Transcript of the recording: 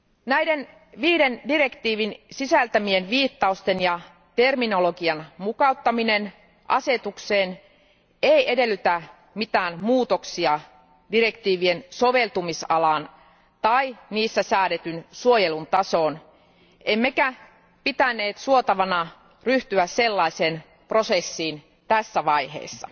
Näiden viiden direktiivin sisältämien viittausten ja terminologian mukauttaminen asetukseen ei edellytä mitään muutoksia direktiivien soveltamisalaan tai niissä säädetyn suojelun tasoon, emmekä pitäneet suotavana ryhtyä sellaiseen prosessiin tässä vaiheessa.